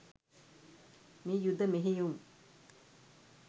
මේ යුධ මෙහෙයුම්